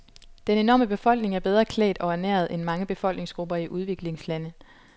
Den enorme befolkning er bedre klædt og ernæret end mange befolkningsgrupper i udviklingslande.